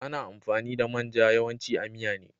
Ana amfani da main ja yawanci a miya ne.